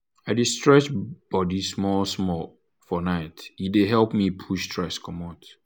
i dey stretch body small-small for night e dey help me push stress commot.